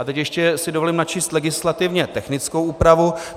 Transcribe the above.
A teď si ještě dovolím načíst legislativně technickou úpravu.